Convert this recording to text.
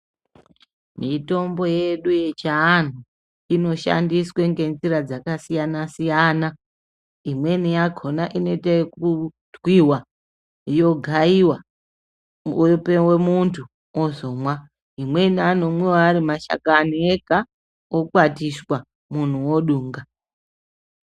Mitombo yedu yechiantu inoshandiswa ngenjira dzakasiyana siyana imweni yakona inoite ekutwiwa yogaiwa yopuwe muntu ozomwa imweni anomwiwa ari mashakani ega okwatiswa muntu odunga.